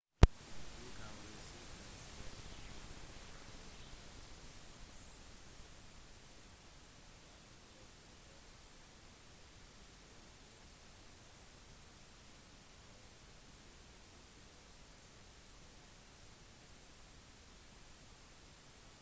du kan være sikker på at når du først er i havn så vil alt være veldig lett å forstå du vil treffe andre båthaikere og de vil dele sin informasjon med deg